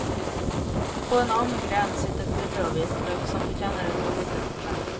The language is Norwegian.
På en annen gren sitter purre og hvitløk, som fortjener et kapittel for seg.